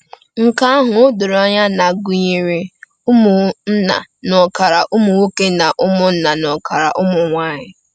Nke ahụ o doro anya na gụnyere ụmụnna n’ọkara ụmụ nwoke na ụmụnna n’ọkara ụmụ nwanyị.